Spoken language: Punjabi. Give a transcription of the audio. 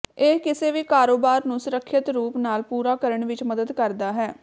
ਇਹ ਕਿਸੇ ਵੀ ਕਾਰੋਬਾਰ ਨੂੰ ਸੁਰੱਖਿਅਤ ਰੂਪ ਨਾਲ ਪੂਰਾ ਕਰਨ ਵਿੱਚ ਮਦਦ ਕਰਦਾ ਹੈ